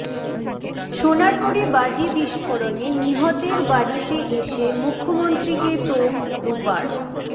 সোনারপুরে বাজি বিস্ফোরণে নিহতের বাড়িতে এসে মুখ্যমন্ত্রীকে তোপ রূপার